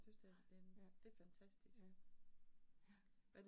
Nej ja, ja, ja